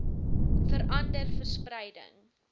vera nder verspreiding